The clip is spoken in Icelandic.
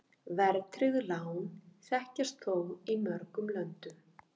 Verðtryggð lán þekkjast þó í mörgum löndum.